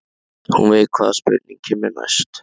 Hún veit hvaða spurning kemur næst.